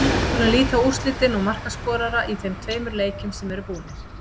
Við skulum líta á úrslitin og markaskorara í þeim tveimur leikjum sem eru búnir.